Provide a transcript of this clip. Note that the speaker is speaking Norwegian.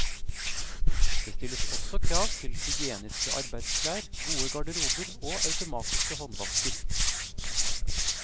Det stilles også krav til hygieniske arbeidsklær, gode garderober og automatiske håndvasker.